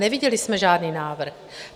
Neviděli jsme žádný návrh.